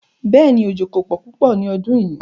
Bẹ́ẹ̀ni, ojó kò pọ̀ púpọ̀ ní ọdún yíì.